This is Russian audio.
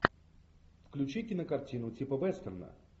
включи кинокартину типа вестерна